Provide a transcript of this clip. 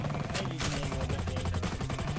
કઈ રીતના એ લોકો share કરવાનો કહે છે